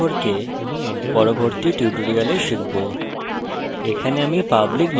আমরা প্যাকেজ সম্পর্কে পরবর্তী tutorials শিখব